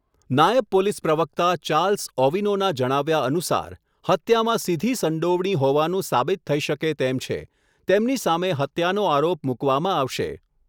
નાયબ પોલીસ પ્રવક્તા ચાર્લ્સ ઓવિનોના જણાવ્યા અનુસાર, હત્યામાં સીધી સંડોવણી હોવાનું સાબિત થઈ શકે તેમ છે, તેમની સામે હત્યાનો આરોપ મૂકવામાં આવશે.